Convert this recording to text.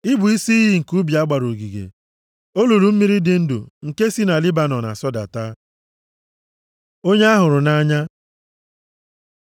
I bụ isi iyi nke ubi a gbara ogige, olulu mmiri dị ndụ nke si na Lebanọn asọdata. + 4:15 Mgbe mkpụrụ mmiri nke kpuchiri ugwu Lebanọn na-agbaze, mmiri ya na-asọdata sọbanye nʼime ọtụtụ isi iyi, mee ka isi iyi ndị ahụ ghara ịta ata. Onye a hụrụ nʼanya